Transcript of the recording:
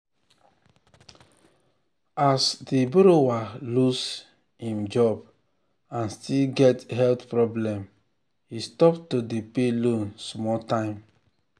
as um di borrower lose im um job and still get um health problem he stop to dey pay loan small time.